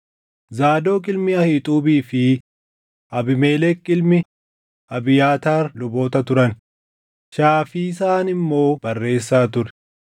Zaadoq ilmi Ahiixuubii fi Abiimelek ilmi Abiyaataar luboota turan; Shaafisaan immoo barreessaa ture;